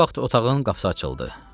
Bu vaxt otağın qapısı açıldı.